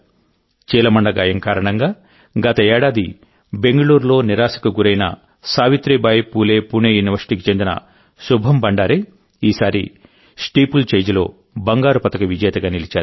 చీలమండ గాయం కారణంగా గత ఏడాది బెంగళూరులో నిరాశకు గురైన సావిత్రిబాయి ఫూలే పూణే యూనివర్సిటీకి చెందిన శుభం భండారే ఈసారి స్టీపుల్చేజ్లో బంగారు పతక విజేతగా నిలిచారు